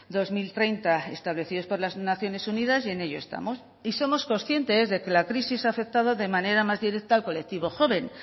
dos mil treinta establecidos por las naciones unidas y en ello estamos y somos conscientes de que la crisis ha afectado de manera más directa al colectivo joven